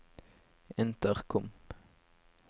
intercom